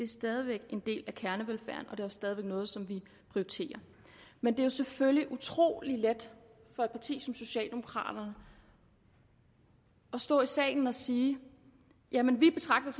stadig væk en del af kernevelfærden og det er også stadig væk noget som vi prioriterer men det er selvfølgelig utrolig let for et parti som socialdemokraterne at stå i salen og sige jamen vi betragter